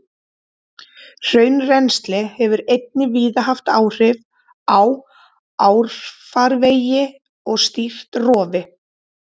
Hraunrennsli hefur einnig víða haft áhrif á árfarvegi og stýrt rofi.